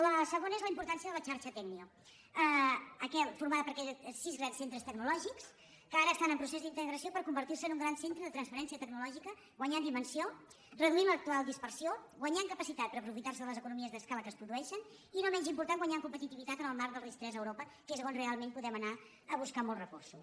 la segona és la importància de la xarxa tecnio for·mada per sis grans centres tecnològics que ara estan en procés d’integració per convertir·se en un gran cen·tre de transferència tecnològica guanyant dimensió reduint l’actual dispersió guanyant capacitat per apro·fitar·se de les economies d’escala que es produeixen i no menys important guanyar en competitivitat en el marc del ris3 a europa que és on realment po·dem anar a buscar molts recursos